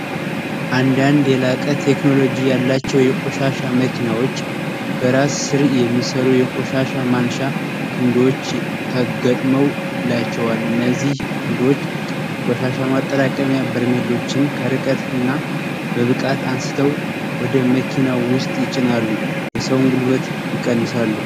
አንዳንድ የላቀት ቴክኖሎጂ ያላቸው የቈሻሻ መኪናዎች በራስ ስርእ የሚሠሩ የቈሻሻ ማንሻ ክንዶዎች ተገጥመው ላቸዋል እነዚህ ክንዶች የቈሻሻ ማጠራቀሚያ በርሜሎችን ከርቀትና በብቃት አንስተው ወደ መኪናው ውስጥ ይጭናሉ የሰውን ጉልበት ይቀንሳሉ፡፡